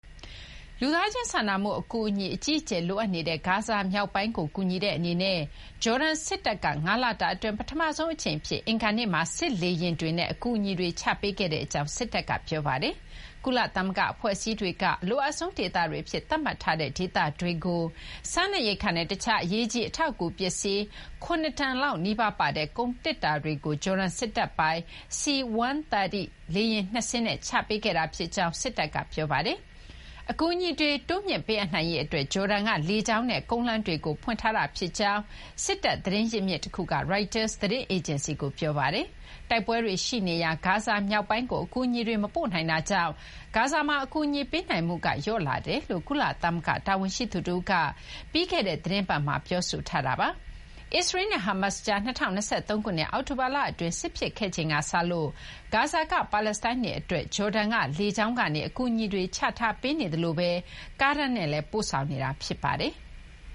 လူသားချင်းစာနာမှု အကူအညီ အကြီးအကျယ် လိုအပ်နေတဲ့ ဂါဇာ မြောက်ပိုင်းကို ကူညီတဲ့ အနေနဲ့ ဂျော်ဒန် စစ်တပ်က ၅ လတာ အတွင်း ပထမဆုံး အကြိမ် အဖြစ် အင်္ဂါနေ့မှာ စစ်လေယာဉ်တွေနဲ့ အကူအညီတွေ ချပေးခဲ့ကြောင်း စစ်တပ်က ပြောပါတယ်။ ကုလသမဂ္ဂ အဖွဲ့အစည်းတွေက အလိုအပ်ဆုံး ဒေသတွေ အဖြစ် သတ်မှတ်ထားတဲ့ ဒေသတွေကို စားနပ်ရိက္ခာနဲ့ တခြားသော အရေးကြီး အထောက်အကူ ပစ္စည်း ၇ တန်လောက် နီးပါး ပါတဲ့ ကုန်သေတ္တာတွေကို ဂျော်ဒန် စစ်တပ်ပိုင် C-130 လေယာဉ် ၂ စင်းနဲ့ ချပေးခဲ့တာ ဖြစ်ကြောင်း စစ်တပ်က ပြောပါတယ်။ အကူအညီတွေ တိုးမြှင့်ပေးအပ်နိုင်ရေး အတွက် ဂျော်ဒန်က လေကြောင်းနဲ့ ကုန်းလမ်း တွေကို ဖွင့်ထားတာ ဖြစ်ကြောင်း စစ်တပ် သတင်းရင်းမြစ် တခုက Reuters သတင်း အေဂျင်စီကို ပြောပါတယ်။ တိုက်ပွဲတွေ ရှိနေရာ ဂါဇာ မြောက်ပိုင်းကို အကူအညီတွေ မပို့နိုင်တာကြောင့် ဂါဇာမှာ အကူအညီ ပေးနိုင်မှုက လျော့နည်းလာတယ်လို့ ကုလသမဂ္ဂ တာဝန်ရှိသူ တဦးက ပြီးခဲ့တဲ့ သီတင်းပတ်မှာ ပြောဆိုထားတာပါ။ အစ္စရေးလ်နဲ့ ဟားမတ်ကြား ၂၀၂၃ ခုနှစ် အောက်တိုဘာလ အတွင်းစစ်ဖြစ်ခဲ့ချိန်ကစလို့ ဂါဇာက ပါလက်စတိုင်းတွေ အတွက် ဂျော်ဒန်က လေကြောင်းကနေ အကူအညီတွေ ချပေးနေသလို ကားတန်းနဲ့လည်း ပို့ဆောင်နေတာ ဖြစ်ပါတယ်။